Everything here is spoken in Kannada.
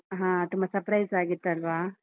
ಹಾ, ತುಂಬಾ surprise ಆಗಿತ್ತಲ್ವಾ?